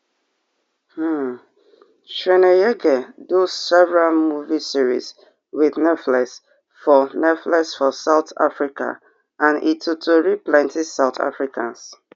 um chweneyagae do several movie series wit netflix for netflix for south africa and e totori plenti south africans